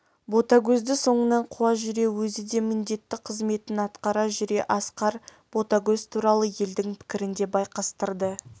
ботагөзді соңынан қуа жүре өзі де міндетті қызметін атқара жүре асқар ботагөз туралы елдің пікірін де байқастырды